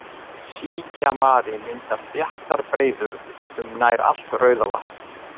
Síkjamari myndar þéttar breiður um nær allt Rauðavatn.